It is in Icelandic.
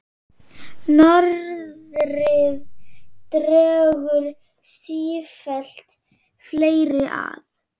Norðrið dregur sífellt fleiri að.